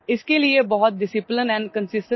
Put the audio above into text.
This will require a lot of discipline and consistency